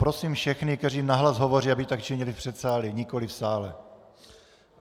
Prosím všechny, kteří nahlas hovoří, aby tak činili v předsálí, nikoliv v sále.